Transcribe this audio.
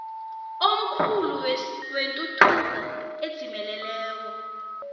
omkhulu wetuthuko edzimeleleko